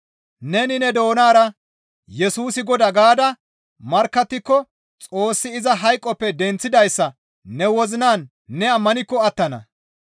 Neni ne doonara, «Yesusi Godaa» gaada markkattiko Xoossi iza hayqoppe denththidayssa ne wozinan ne ammanikko attana.